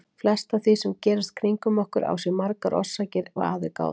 Flest af því sem gerist kringum okkur á sér margar orsakir ef að er gáð.